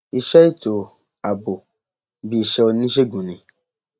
iṣẹ ètò ààbò bíi iṣẹ oníṣègùn ni